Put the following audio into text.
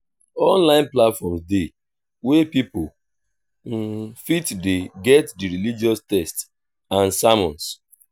online platforms de wey pipo fit de get di religous text and sermons